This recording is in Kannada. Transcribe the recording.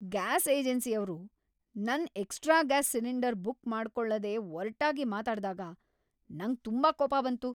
ಗ್ಯಾಸ್ ಏಜೆನ್ಸಿಯವ್ರು ನನ್ ಎಕ್ಸ್ಟ್ರಾ ಗ್ಯಾಸ್ ಸಿಲಿಂಡರ್ ಬುಕ್ ಮಾಡ್ಕೊಳ್ಳದೇ ಒರ್ಟಾಗಿ ಮಾತಾಡ್ದಾಗ ನಂಗ್ ತುಂಬಾ ಕೋಪ ಬಂತು.